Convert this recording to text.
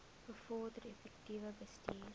bevorder effektiewe bestuur